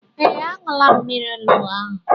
Ee, aṅula m mmiri onugbu ahụ